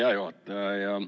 Hea juhataja!